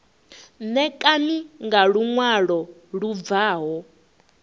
ṋekane nga luṅwalo lu bvaho